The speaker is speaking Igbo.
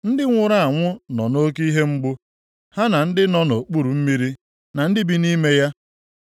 “Ndị nwụrụ anwụ nọ nʼoke ihe mgbu, ha na ndị nọ nʼokpuru mmiri na ndị bi nʼime ya.